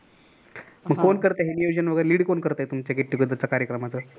मग कोण करतय हे नियोजन वगैरे lead कोण करतय get together च्या कार्यक्रमात